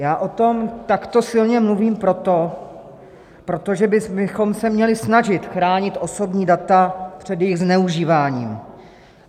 Já o tom takto silně mluvím proto, protože bychom se měli snažit chránit osobní data před jejich zneužíváním.